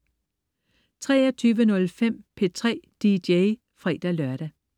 23.05 P3 DJ (fre-lør)